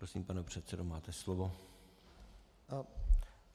Prosím, pane předsedo, máte slovo.